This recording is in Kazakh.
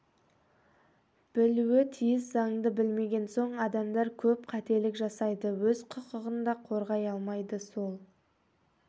білуі тиіс заңды білмеген соң адамдар көп қателік жасайды өз құқығын да қорғай алмайды сол